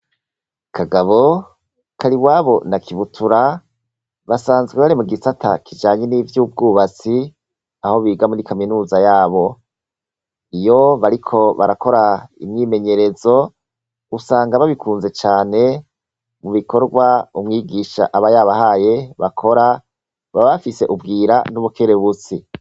Kagabo ,kariwabo na kibutura basanzwe bare mu gisata kijanyi n'iby'ubwubatsi aho biga muri kaminuza yabo iyo bariko barakora imyimenyerezo usanga babikunze cane mu bikorwa umwigisha aba yabahaye bakora baba bafise ubwira n'ubukerebutsi.